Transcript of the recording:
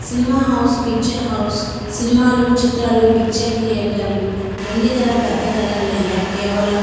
cinema house picture house సినిమాలు చిత్రాలు picture థియేటర్లు వెండి తెర పెద్ద తేరా లేదా కేవలం --